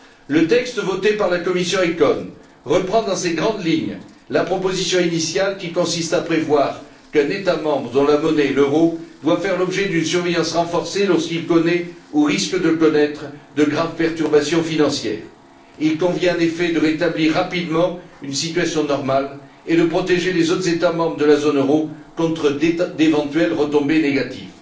Le texte voté par la commission des affaires économiques et monétaires reprend dans ses grandes lignes la proposition initiale qui consiste à prévoir qu'un État membre dont la monnaie est l'euro doit faire l'objet d'une surveillance renforcée lorsqu'il connaît ou risque de connaître de graves perturbations financières. Il convient, en effet, de rétablir rapidement une situation normale et de protéger les autres États membres de la zone euro contre d'éventuelles retombées négatives.